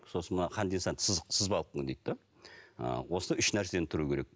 сосын мына сызық сызбалық дейді де ы осы үш нәрсені тұру керек